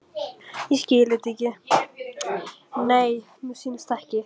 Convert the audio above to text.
Það hlaut og varð að vera framtíð handa okkur.